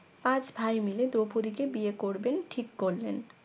পাঁচ ভাই মিলে দ্রৌপদীকে বিয়ে করবেন ঠিক করলেন